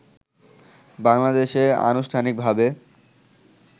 বাংলাদেশে আনুষ্ঠানিকভাবে